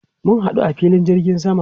Mun hadu a filin jirgin sama.